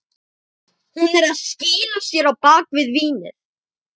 Hún er að skýla sér á bak við vínið.